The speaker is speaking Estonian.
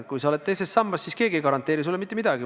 Kui sa oled teises sambas, siis keegi ei garanteeri sulle mitte midagi.